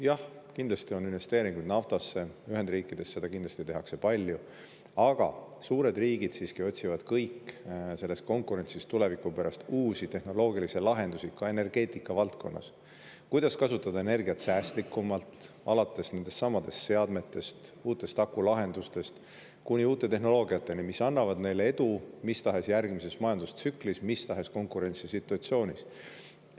Jah, kindlasti on investeeringuid naftasse, Ühendriikides seda kindlasti tehakse palju, aga suured riigid siiski otsivad kõik selles konkurentsis tuleviku pärast uusi tehnoloogilisi lahendusi, ka energeetika valdkonnas: kuidas kasutada energiat säästlikumalt, alates nendestsamadest seadmetest, uutest akulahendustest kuni uute tehnoloogiateni, mis annavad neile edu mis tahes järgmises majandustsüklis, mis tahes konkurentsisituatsioonis.